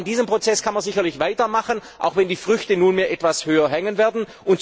Aber an diesem Prozess kann man sicherlich weitermachen, auch wenn die Früchte nunmehr etwas höher hängen werden.